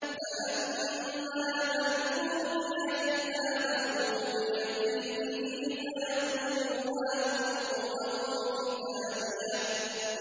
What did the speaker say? فَأَمَّا مَنْ أُوتِيَ كِتَابَهُ بِيَمِينِهِ فَيَقُولُ هَاؤُمُ اقْرَءُوا كِتَابِيَهْ